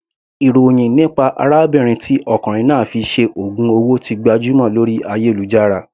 Ìròhìn nípa arábìnrin tí ọkùnrin náà fi ṣe ògùn owó ti gbajúmọ̀ lórí ayélujára.